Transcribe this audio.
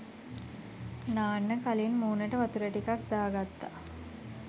නාන්න කලින් මූනට වතුර ටිකක් දාගත්ත